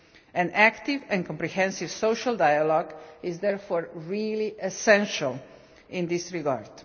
An active and comprehensive social dialogue is therefore really essential in this regard.